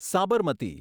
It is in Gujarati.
સાબરમતી